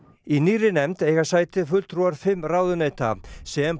í nýrri nefnd eiga sæti fulltrúar fimm ráðuneyta sem